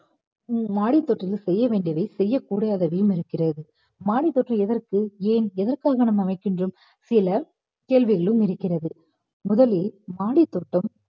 மாடி தோட்டத்துல செய்ய வேண்டியவை செய்யக்கூடாதவையும் இருக்கிறது. மாடி தோட்டம் எதற்கு ஏன் எதற்காக நாம வைக்கின்றோம் சில கேள்விகளும் இருக்கிறது முதலில் மாடித்தோட்டம்